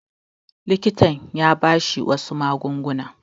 Likitan ya ba shi wasu magunguna.